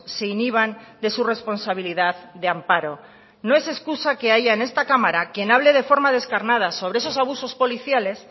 se inhiban de su responsabilidad de amparo no es excusa que haya en esta cámara quien hable de forma descarnada sobre esos abusos policiales